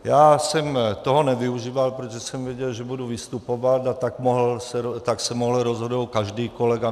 Já jsem toho nevyužíval, protože jsem věděl, že budu vystupovat, a tak se mohl rozhodnout každý kolega.